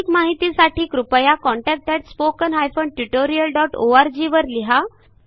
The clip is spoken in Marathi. माहितीसाठी contactspoken tutorialorg ला लिहा